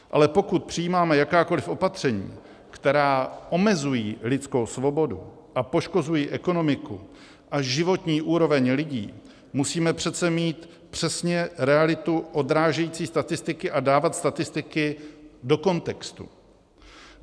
Ale pokud přijímáme jakákoliv opatření, která omezují lidskou svobodu a poškozují ekonomiku a životní úroveň lidí, musíme přece mít přesně realitu odrážející statistiky a dávat statistiky do kontextu.